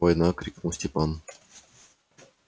война крикнул степан